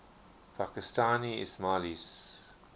pakistani ismailis